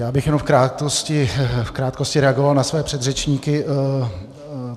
Já bych jenom v krátkosti reagoval na své předřečníky.